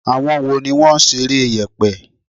Àwọn wo ni wọ́n ṣeré yèpè?